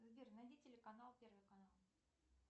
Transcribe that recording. сбер найди телеканал первый канал